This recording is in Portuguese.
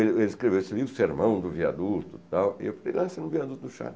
Ele ele escreveu esse livro, o Sermão do Viaduto, tal, e eu falei, lança no Viaduto do Chá.